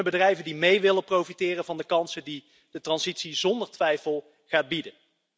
En kunnen bedrijven mee profiteren van de kansen die de transitie zonder twijfel gaat bieden?